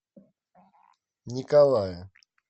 николая